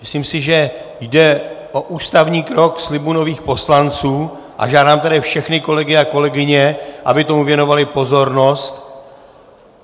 Myslím si, že jde o ústavní krok slibu nových poslanců, a žádám tedy všechny kolegy a kolegyně, aby tomu věnovali pozornost.